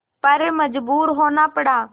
पर मजबूर होना पड़ा